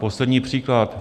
Poslední příklad.